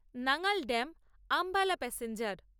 Nangal dam Ambala passenger